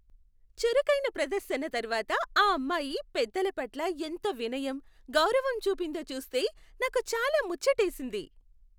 చురుకైన ప్రదర్శన తర్వాత ఆ అమ్మాయి పెద్దల పట్ల ఎంత వినయం, గౌరవం చూపిందో చూస్తే నాకు చాలా ముచ్చటేసింది.